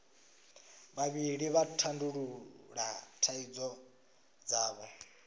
vhavhili vha tandulula thaidzo dzavho